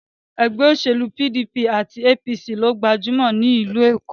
Ẹgbẹ́ òṣèlú PDP àti APC lo gbajúmọ̀ jùlọ ní ìlú Èkó.